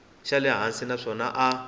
xa le hansi naswona a